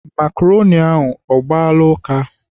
Makroni ahụ, ọ gbaala ụka?